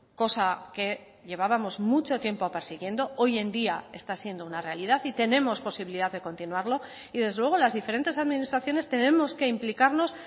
cosa que llevábamos mucho tiempo persiguiendo hoy en día está siendo una realidad y tenemos posibilidad de continuarlo y desde luego las diferentes administraciones tenemos que implicarnos